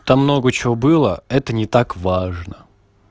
там много чего было это не так важно